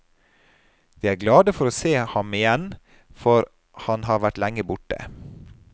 De er glade for å se ham igjen, for han har vært lenge borte.